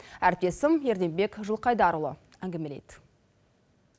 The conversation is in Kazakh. әріптесім ерденбек жылқайдарұлы әңгімелейді